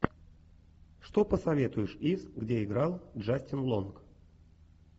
что посоветуешь из где играл джастин лонг